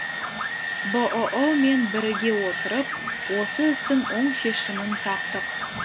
бұұ мен біріге отырып осы істің оң шешімін таптық